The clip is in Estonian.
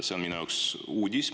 See on minu jaoks uudis.